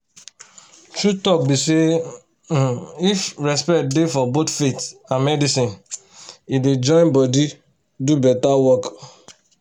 true talk be say um if respect dey for both faith and medicine e dey join body do better work.